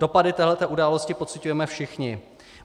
Dopady této události pociťujeme všichni.